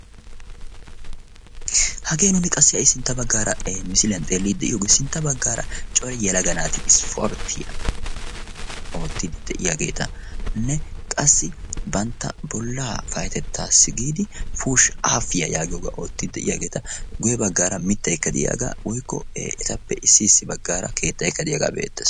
hagee nuuni qassi ay sintta baggaara misiiliyan xeellidi de'iyoogee sintta baggaara cori yalaga naati ispportiyaa oottidi de'iyaageetanne qassi bantta bollaa payatettaassi giidi pushi afiyaa yaagiyoogaa oottidi de'iyaageeta guye baggaara mittaikkadiyaagaa woikko etappe issi issi baggaara keettayikadiyaagaa be"ette